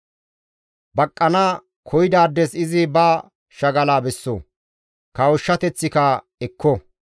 Baqqana koyidaades izi ba shagala besso; kawushshateththika ekko.